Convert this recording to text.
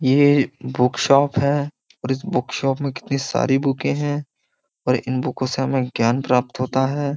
ये बुक्शाप है और इस बुक्शाप में कितनी सारी बुकें हैं और इन बुकों से हमें ज्ञान प्राप्त होता है।